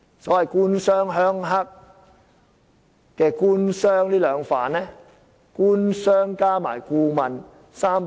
所謂"官商鄉黑"，"官"和"商"兩方面有否與顧問串通？